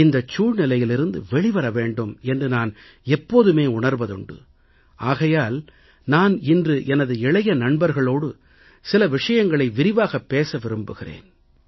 இந்தச் சூழ்நிலையிலிருந்து வெளிவர வேண்டும் என்று நான் எப்போதுமே உணர்வதுண்டு ஆகையால் நான் இன்று எனது இளைய நண்பர்களோடு சில விஷயங்களை விரிவாகப் பேச விரும்புகிறேன்